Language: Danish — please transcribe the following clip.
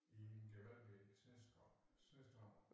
I en gevaldig snestorm snestorm